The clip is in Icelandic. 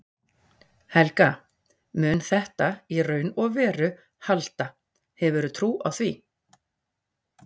Helga: Mun þetta í raun og veru halda, hefurðu trú á því?